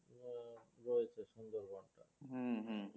হুম হুম